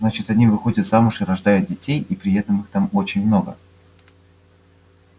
значит они выходят замуж и рождают детей и при этом их там очень много